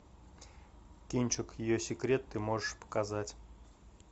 кинчик ее секрет ты можешь показать